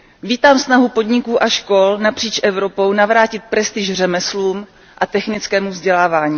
Vítám snahu podniků a škol napříč Evropou navrátit prestiž řemeslům a technickému vzdělávání.